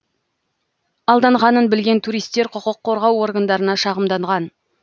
алданғанын білген туристер құқық қорғау органдарына шағымданған